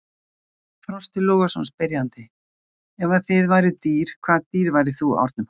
Frosti Logason, spyrjandi: Ef að þið væruð dýr, hvaða dýr væri þú, Árni Páll?